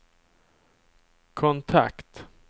kontakt